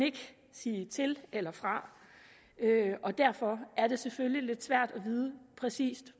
sige til eller fra og derfor er det selvfølgelig lidt svært præcis